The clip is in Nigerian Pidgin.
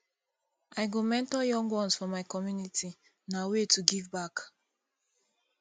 i go mentor young ones for my community na way to give back